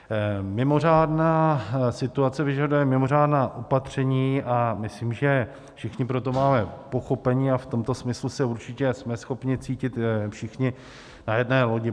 Mimořádná situace vyžaduje mimořádná opatření a myslím, že všichni pro to máme pochopení, a v tomto smyslu se určitě jsme schopni cítit všichni na jedné lodi.